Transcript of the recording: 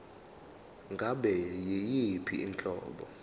ngabe yiyiphi inhlobo